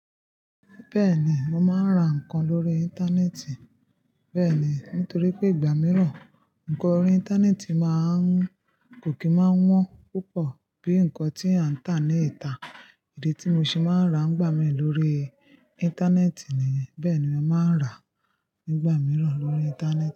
Bẹ́ẹ̀ni, mo máa ń ra nǹkan lórí Íńtánẹ́ẹ̀tì. Bẹ́ẹ̀ni, nítorí pé ìgbà mìíràn, nǹkan orí Íńtánẹ́ẹ̀tì máa ń-- kò kí máa wọ́n púpọ̀ bíi nǹkan tí a ń tà ní ìta. Idi tí mo ṣe máa ń ra ńgbà mí lórí Íńtánẹ́ẹ̀tì ni yen. Bẹ́ẹ̀ ni mo máa ń rà nígbà mìíràn lórí Íńtánẹ́ẹ̀tì.